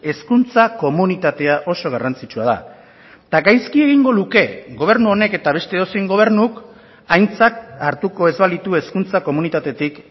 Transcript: hezkuntza komunitatea oso garrantzitsua da eta gaizki egingo luke gobernu honek eta beste edozein gobernuk aintzat hartuko ez balitu hezkuntza komunitatetik